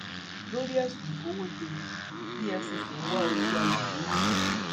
lórí ẹsùn ìkówóje efcc ń wá olú àgúnlóye